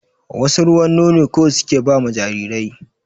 Wasu ruwan nono kawai suke ba ma jarirai